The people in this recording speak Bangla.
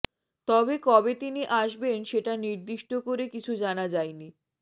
তবে কবে তিনি আসবেন সেটা নির্দিষ্ট করে কিছু জানা যাইনি